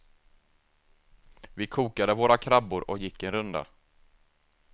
Vi kokade våra krabbor och gick en runda.